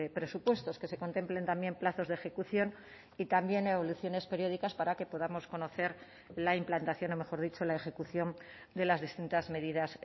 presupuestos que se contemplen también plazos de ejecución y también evoluciones periódicas para que podamos conocer la implantación o mejor dicho la ejecución de las distintas medidas